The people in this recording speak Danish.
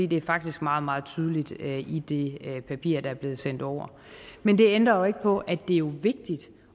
det er faktisk meget meget tydeligt i det papir der er blevet sendt over men det ændrer jo ikke på at det jo er vigtigt